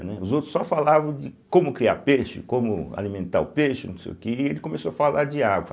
Né. Os outros só falavam de como criar peixe, como alimentar o peixe, não sei o que, e ele começou a falar de água.